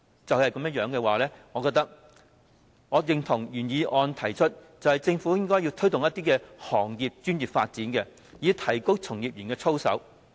考慮到這些情況，我認同原議案的建議，政府應該推動行業專業發展，以提高從業員的操守。